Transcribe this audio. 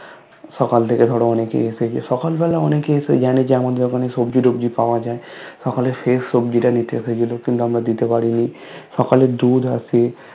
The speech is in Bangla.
সকাল থেকে ধরো অনেকেই এসেছে সকাল বেলা অনেকেই এসে জানে যে আমাদের ওখানে সবজি টোবজি পাওয়া যায় সকালের শেষ সবজি টা নিতে এসেছিলো কিন্তু আমরা দিতে পারিনি সকালে দুধ আছে